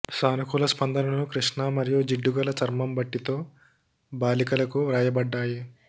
సానుకూల స్పందనలు కృష్ణ మరియు జిడ్డుగల చర్మం బట్టి తో బాలికలకు వ్రాయబడ్డాయి